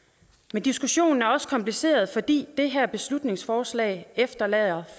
men diskussionen er også kompliceret fordi det her beslutningsforslag efterlader